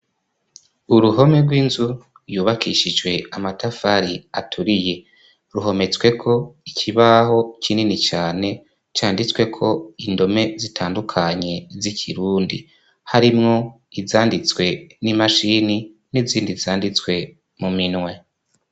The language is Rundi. Uruhome rw'inzu yubakishijwe amatafari aturiye ruhometsweko ikibaho kinini cane canditswe ko indome zitandukanye z'ikirundi harimwo izanditswe n'imashini n'izindi zanditswe mu minwe.